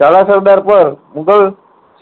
ઝાલા સરદાર પર મુગલ